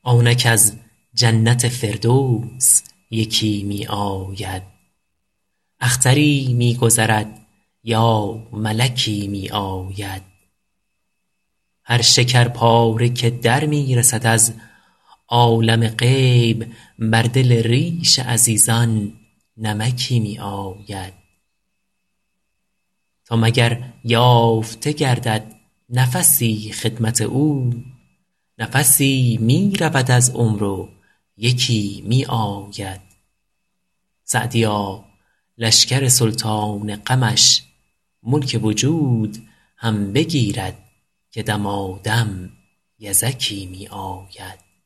آنک از جنت فردوس یکی می آید اختری می گذرد یا ملکی می آید هر شکرپاره که در می رسد از عالم غیب بر دل ریش عزیزان نمکی می آید تا مگر یافته گردد نفسی خدمت او نفسی می رود از عمر و یکی می آید سعدیا لشکر سلطان غمش ملک وجود هم بگیرد که دمادم یزکی می آید